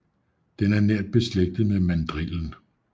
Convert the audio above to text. Den er nært beslægtet med mandrillen